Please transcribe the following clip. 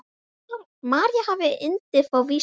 María hafði yndi af vísum.